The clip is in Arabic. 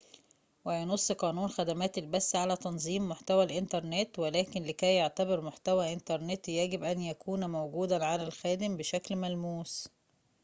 وينص قانون خدمات البث على تنظيم محتوى الإنترنت ولكن لكي يعتبر محتوى إنترنت يجب أن يكون موجوداً على الخادم بشكل ملموس